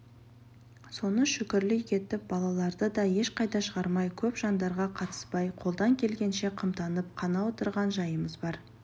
соны шүкірлік етіп балаларды да ешқайда шығармай көп жандарға қатыспай қолдан келгенше қымтанып қана отырған жайымыз бар